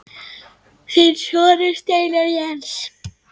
Þinn sonur, Steinar Jens.